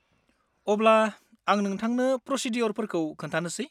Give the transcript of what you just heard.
अब्ला, आं नोंथांनो प्र'सिदिय'रफोरखौ खोन्थानोसै।